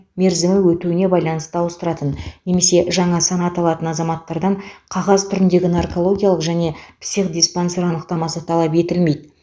мерзімі өтуіне байланысты ауыстыратын немесе жаңа санат алатын азаматтардан қағаз түріндегі наркологиялық және психодиспансер анықтамасы талап етілмейді